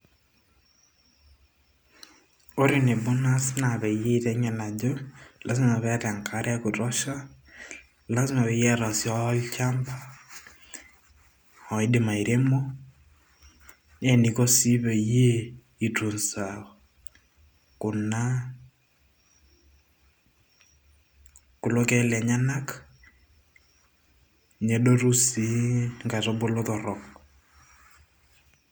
ore enebo naas naa peyie aiteng'en ajo lazima peeta enkare ekutosha lazima peyie eeta sii olchamba oidim airemo nee eniko sii peyie i tunza kuna kulo keek lenyenak nedotu sii inkaitubulu torrok.